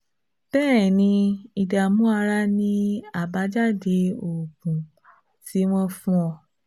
Bẹ́ẹ̀ ni, ìdààmú ara ni àbájáde oògùn tí wọ́n fún ọ